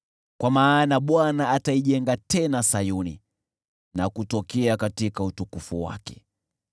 Kwa maana Bwana ataijenga tena Sayuni na kutokea katika utukufu wake.